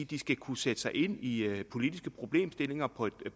de skal kunne sætte sig ind i i politiske problemstillinger på